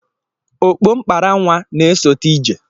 Ogbo mkpara nwa na-esote ije.